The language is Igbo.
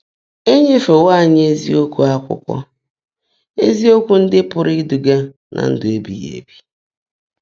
É nyéféwó ányị́ ézíokwú ákwụ́kwọ́ — ézíokwú ndị́ pụ́rụ́ ídúgá ná ndụ́ ébíghị́ ébí.